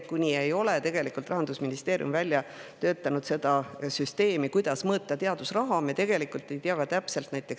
Kuni ei ole Rahandusministeerium välja töötanud süsteemi, kuidas mõõta teadusraha, me tegelikult täpselt ei tea.